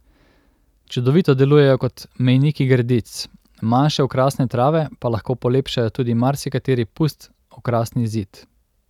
Čudovito delujejo kot mejniki gredic, manjše okrasne trave pa lahko polepšajo tudi marsikateri pust okrasni zid.